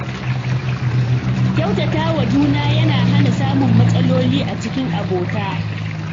Kyautata wa juna yana hana samun matsaloli a cikin abota.